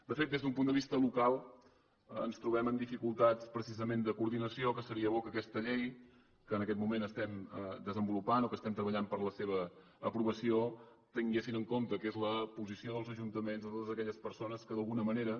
de fet des d’un punt de vista local ens trobem amb dificultats precisament de coordinació que seria bo que aquesta llei que en aquest moment estem desenvolupant o que estem treballant per la seva aprovació tingués en compte que és la posició dels ajuntaments de totes aquelles persones que d’alguna manera